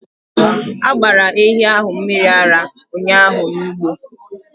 A gbara ehi ahụ mmiri ara ụnyahụ n’ugbo